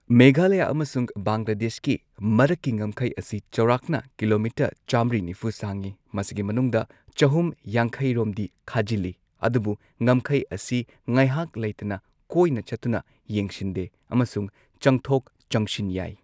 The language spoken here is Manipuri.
ꯃꯦꯘꯥꯂꯌꯥ ꯑꯃꯁꯨꯡ ꯕꯪꯒꯂꯥꯗꯦꯁꯀꯤ ꯃꯔꯛꯀꯤ ꯉꯝꯈꯩ ꯑꯁꯤ ꯆꯧꯔꯥꯛꯅ ꯀꯤꯂꯣꯃꯤꯇꯔ ꯆꯥꯝꯃ꯭ꯔꯤ ꯅꯤꯐꯨ ꯁꯥꯡꯏ꯫ ꯃꯁꯤꯒꯤ ꯃꯅꯨꯡꯗ ꯆꯍꯨꯝ ꯌꯥꯡꯈꯩꯔꯣꯝꯗꯤ ꯈꯥꯖꯤꯜꯂꯤ ꯑꯗꯨꯕꯨ ꯉꯝꯈꯩ ꯑꯁꯤ ꯉꯥꯏꯍꯥꯛ ꯂꯩꯇꯅ ꯀꯣꯏꯅ ꯆꯠꯇꯨꯅ ꯌꯦꯡꯁꯤꯟꯗꯦ ꯑꯃꯁꯨꯡ ꯆꯪꯊꯣꯛ ꯆꯪꯁꯤꯟ ꯌꯥꯏ꯫